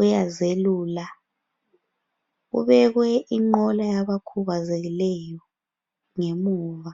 uyazelula. Kubekwe inqola yabakhubazekileyo ngemuva.